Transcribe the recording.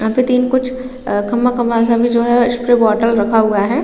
यहाँ पे तीन कुछ अ खंबा-खंबा सा भी जो है उसपे बॉटल रखा हुआ हैं ।